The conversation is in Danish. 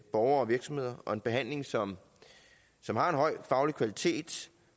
borgere og virksomheder og en behandling som som har en høj faglig kvalitet